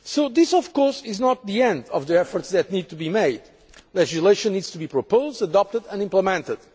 This of course is not the end of the efforts that need to be made. Legislation needs to be proposed, adopted and implemented.